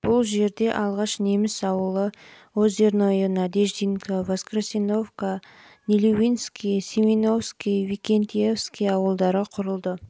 бұл жерде алғаш неміс ауылы жылы озерное жылы надеждинка және воскресеновка жылы нелюбинский семеновский викентьевский ауылдары құрылды